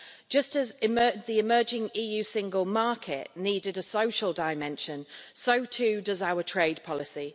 Just as the emerging EU single market needed a social dimension, so too does our trade policy.